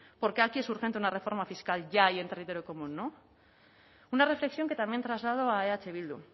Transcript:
por qué aquí es urgente una reforma fiscal ya y en territorio común no una reflexión que también traslado a eh bildu